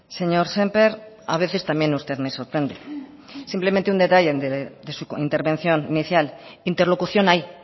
señor sémper a veces también usted me sorprende simplemente un detalle de su intervención inicial interlocución hay